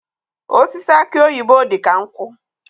Osisi aki oyibo dị ka nkwụ.